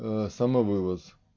самовывоз